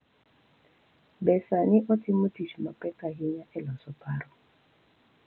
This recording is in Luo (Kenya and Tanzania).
Be sani otimo tich mapek ahinya e loso paro